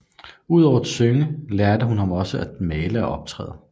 Udover at synge lærte hun ham også at male og optræde